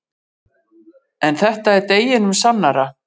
En þetta er deginum sannara.